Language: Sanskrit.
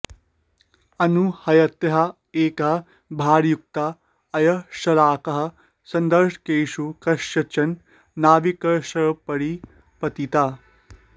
अनूह्यतया एका भारयुक्ता अयश्शलाका सन्दर्शकेषु कस्यचन नाविकस्योपरि पतिता